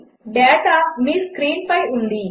data మీ స్క్రీన్పై ఉంది